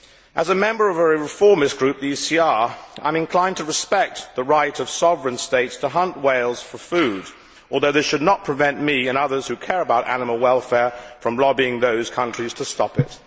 As a member of a reformist group, the ECR, I am inclined to respect the right of sovereign states to hunt whales for food, although this should not prevent me and others who care about animal welfare from lobbying those countries to stop it.